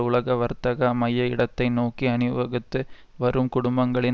உலக வர்த்தக மைய இடத்தை நோக்கிஅணி வகுத்து வரும் குடும்பங்களின்